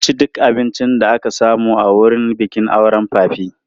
Mun ci duk abincin da aka samu a wurin bikin auren papi.